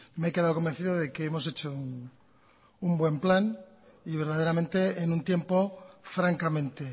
me he quedado convencido de que hemos hecho un buen plan y verdaderamente en un tiempo francamente